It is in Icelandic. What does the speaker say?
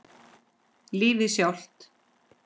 Lífið sjálft.